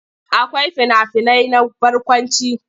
Akwai fina-finai na barkwanci.